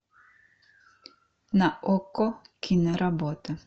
на окко киноработа